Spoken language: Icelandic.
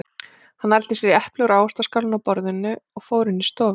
Hann nældi sér í epli úr ávaxtaskálinni á borðinu og fór inn í stofu.